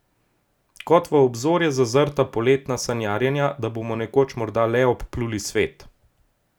Kot v obzorje zazrta poletna sanjarjenja, da bomo nekoč morda le obpluli svet.